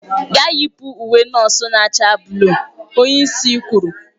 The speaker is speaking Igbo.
Gaa yipụ ​​n'uwe nọọsụ na-acha buluu! onye isi kwuru.